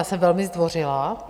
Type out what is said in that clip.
Já jsem velmi zdvořilá.